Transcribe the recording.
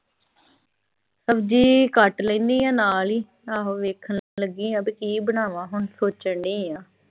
ਸਬਜ਼ੀ ਕੱਟ ਲੈਨੀ ਆਂ ਨਾਲ ਈ। ਆਹੋ ਵੇਖਣ ਲੱਗੀ ਆਂ ਕਿ ਕੀ ਬਣਾਵਾਂ ਹੁਣ। ਸੋਚਣ ਡਈ ਆਂ।